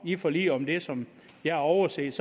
i forliget om det som jeg har overset